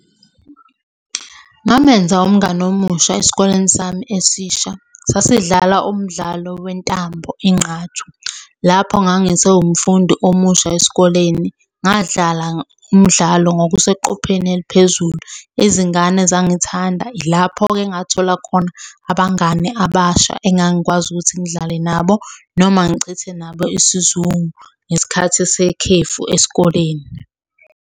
Ngamenza umngani omusha esikoleni sami esisha. Sasidlala umdlalo wentambo, ingqathu. Lapho ngangisewumfundi omusha esikoleni. Ngadlala umdlalo ngokuseqopheleni eliphezulu. Izingane zangithanda, ilapho-ke engathola khona abangani abasha engangikwazi ukuthi ngidlale nabo noma ngichithe nabo isizungu ngesikhathi sekhefu esikoleni.